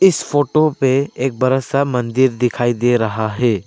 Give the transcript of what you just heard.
इस फोटो पे एक बड़ा सा मंदिर दिखाई दे रहा है।